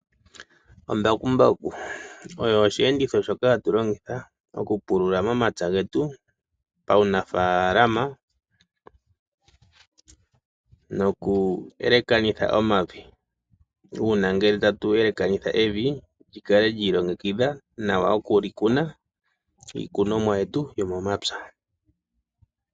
Embakumbaku olyo oshiyenditho shoka hatu longitha okupulula momapya getu paunafaalama noku elekanitha omavi . Uuna ngele tatu elekanitha evi lyikale lyiilongekidha opo tuwape okuli kuna iikunomwa yetu yomomapya.